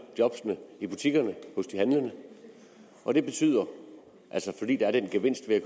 jobbene i butikkerne hos de handlende og det betyder fordi der er den gevinst ved at